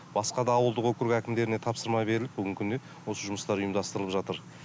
басқа да ауылдық округ әкімдеріне тапсырма беріліп бүгінгі күні осы жұмыстар ұйымдастырылып жатыр